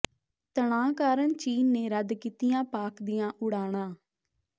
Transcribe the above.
ਤਣਾਅ ਕਾਰਨ ਚੀਨ ਨੇ ਰੱਦ ਕੀਤੀਆਂ ਪਾਕਿ ਦੀਆਂ ਉਡਾਣਾਂ